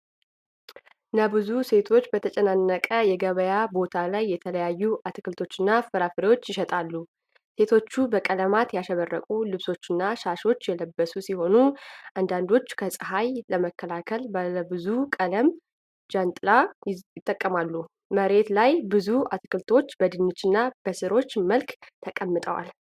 ነብዙ ሴቶች በተጨናነቀ የገበያ ቦታ ላይ የተለያዩ አትክልቶችንና ፍራፍሬዎችን ይሸጣሉ። ሴቶቹ በቀለማት ያሸበረቁ ልብሶችና ሻሾች የለበሱ ሲሆን፣ አንዳንዶቹ ከፀሐይ ለመከላከል ባለብዙ ቀለም ጃንጥላ ይጠቀማሉ። መሬት ላይ ብዙ አትክልቶች በድንችና በሥሮች መልክ ተቀምጠዋል።